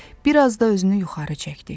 biraz da özünü yuxarı çəkdi.